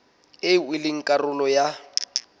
eo e leng karolo ya